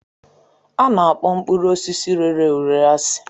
A na-akpọ mkpụrụ osisi rere ure asị